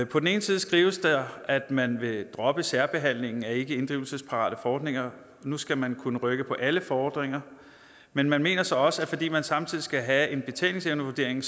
på den ene side skrives der at man vil droppe særbehandlingen af ikkeinddrivelsesparate fordringer nu skal man kunne rykke på alle fordringer men man mener så også at fordi man samtidig skal have en betalingsevnevurdering